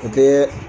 O tɛ